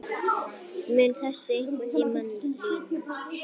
Mun þessu einhvern tímann linna?